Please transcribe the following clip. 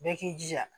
Bɛɛ k'i jija